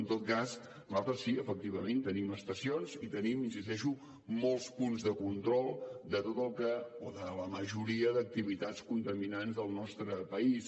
en tot cas nosaltres sí efectivament tenim estacions i tenim hi insisteixo molts punts de control de la majoria d’activitats contaminants del nostre país